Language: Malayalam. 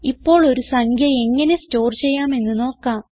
ഇപ്പോൾ ഒരു സംഖ്യ എങ്ങനെ സ്റ്റോർ ചെയ്യാമെന്ന് നോക്കാം